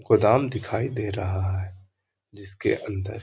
गोदाम दिखाई दे रहा है जिसके अंदर --